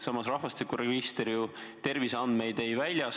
Samas rahvastikuregister ju terviseandmeid ei väljasta.